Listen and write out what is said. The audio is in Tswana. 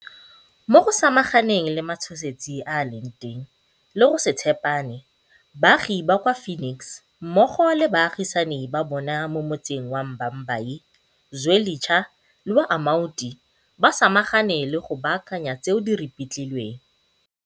Mo go samaganeng le matshosetsi a a leng teng le go se tshepane, baagi ba kwa Phoenix mmogo le baagisani ba bona mo motseng wa Bha mbayi, Zwelitsha le wa Amaoti ba samagane le go baakanya tseo di ripitlilweng.